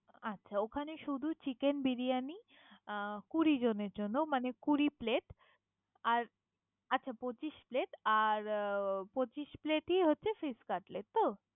আচ্ছা, ওখানে শুধূ Chicken বিরিয়ানি অ কুড়ি জনের জন্য। মানে কুড়ি Plate । আচ্ছা পচিশ Plate । আর পচিশ Plate ই হচ্ছে Fish cutlet ।